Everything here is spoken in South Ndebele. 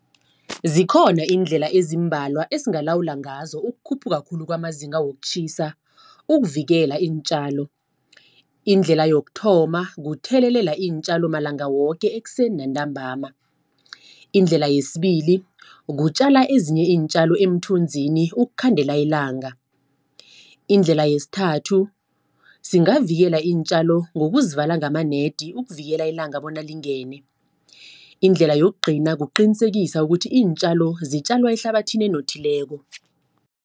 Zikhona iindlela ezimbalwa esingalawula ngazo, ukukhuphuka khulu kwamazinga wokutjhisa, ukuvikela iintjalo. Indlela yokuthoma kuthelelela iintjalo malanga woke ekuseni nantambama. Indlela yesibili, kutjala ezinye iintjalo emthunzini ukukhandela ilanga. Indlela yesithathu, singavikela iintjalo ngokuzivala ngamanedi ukuvikela ilanga, bona lingene. Indlela yokugcina kuqinisekisa ukuthi iintjalo zitjalwa ehlabathini enothileko.